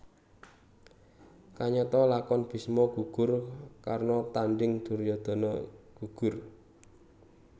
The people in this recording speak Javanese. Kayata lakon Bisma gugur Karna Tanding Duryudana Gugur